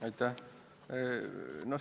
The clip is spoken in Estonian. Aitäh!